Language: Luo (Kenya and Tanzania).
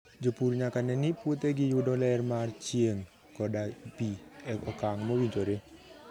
Jopur nyaka ne ni puothegi yudo ler mar chieng' koda pi e okang' mowinjore.